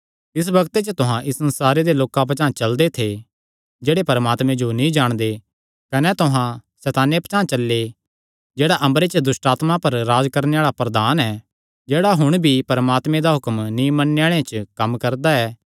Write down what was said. तिस बग्ते च तुहां इस संसारे दे लोकां पचांह़ चलदे थे जेह्ड़े परमात्मे जो नीं जाणदे कने तुहां सैताने पचांह़ चल्ले जेह्ड़ा अम्बरे च दुष्टआत्मां पर राज्ज करणे आल़ा प्रधान ऐ जेह्ड़ा हुण भी परमात्मे दा हुक्म नीं मन्नणे आल़ेआं च कम्म करदा ऐ